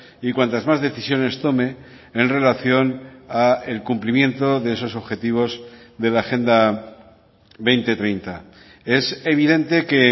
y cuantas más decisiones tome en relación al cumplimiento de esos objetivos de la agenda dos mil treinta es evidente que